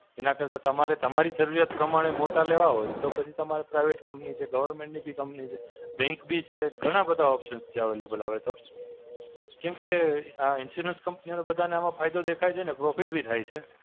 એના કરતાં તમારે તમારી જરૂરિયાત પ્રમાણે મોટા લેવા હોય, તો પછી તમારા Private company છે, government ની company છે, bank બી છે. ઘણા બધા options છે available હવે તો. કેમ કે, આ Insurance company ઓ ને બધાંને આમાં ફાયદો દેખાય છે અને profit બી થાય છે.